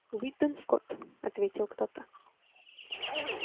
уидон скотт ответил кто-то